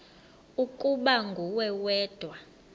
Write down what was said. ukuba nguwe wedwa